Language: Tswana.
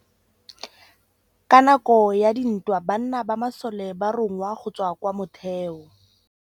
Ka nakô ya dintwa banna ba masole ba rongwa go tswa kwa mothêô.